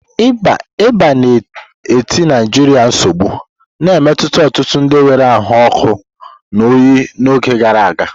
Ịba na-eti Naijiria nsogbu, na-emetụta ọtụtụ ndị nwere ahụ ọkụ na oyi n'oge gara aga.